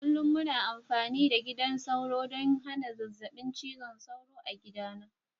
Kullum muna amfani da gidan sauro ɗon hana zazzabin cizon sauro a gidana.